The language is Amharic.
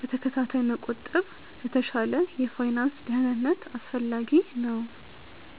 በተከታታይ መቆጠብ ለተሻለ የፋይናንስ ደህንነት አስፈላጊ ነው።